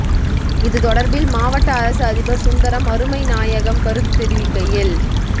இது தொடர்பில் மாவட்ட அரச அதிபர் சுந்தரம் அருமைநாயகம் கருத்து தெரிவிக்கையில்